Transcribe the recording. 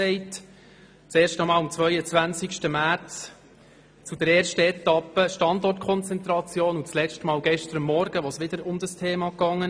Zum ersten Mal am 22. März zur ersten Etappe «Standortkonzentration» und zum letzten Mal gestern Morgen, als es wieder um dieses Thema ging.